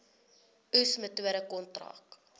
oes metode kontrak